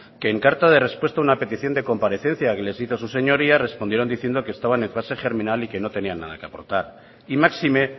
que en carta de respuesta a una petición de comparecencia que les hizo sus señorías respondieron diciendo que estaban en fase germinal y que no tenían nada que aportar y máxime